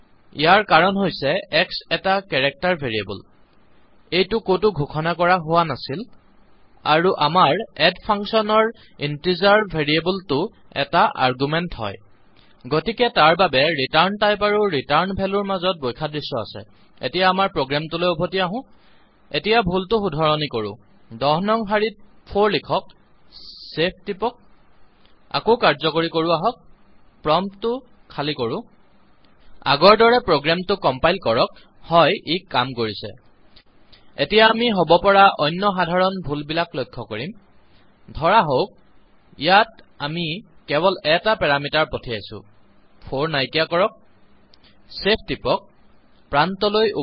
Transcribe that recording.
ইয়াৰ কাৰণ হৈছে x এটা কেৰেক্টাৰ ভেৰিয়েবল এইটো কতো ঘোষণা কৰা হোৱা নাছিল আৰু আমাৰ addফাংচনৰ ইণ্টিজাৰ ভেৰিয়েবল টো এটা আৰ্গুমেন্ট হয় গতিকে তাৰ বাবে ৰিটাৰ্ণ টাইপ আৰু ৰিটাৰ্ণ ভেলো ৰ মাজত বৈসাদৃশ্য আহিছে এতিয়া আমাৰ প্ৰোগ্ৰামটোলৈ উভতি আহো এতিয়া ভুলটো শুধৰণি কৰো ১০ নং শাৰীত ৪ লিখক ছেভচেভ টিপক আকৌ কাৰ্যকৰী কৰো আহক প্ৰম্পত খালি কৰো আগৰ দৰে প্ৰোগ্ৰামটো কম্পাইল কৰক হ্য় ই কাম কৰিছে এতিয়া আমি হব পৰা অন্য সাধাৰণ ভুল বিলাক লক্ষ্য কৰিম ধৰাহওঁক ইয়াত আমি কেৱল এটা পেৰামিটাৰ পঠাইছো ৪ নাইকীয়া কৰক ছেভ টিপক প্ৰান্তলৈটাৰ্মিনেল